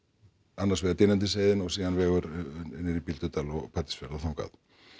annars vegar Dynjandisheiðin og síðan vegur niður í Bíldudal og Patreksfjörð og þangað